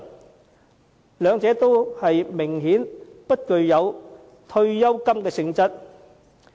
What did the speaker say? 明顯地，兩者均不具有退休金的性質。